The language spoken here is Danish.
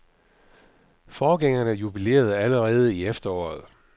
Forgængerne jubilerede alle i efteråret.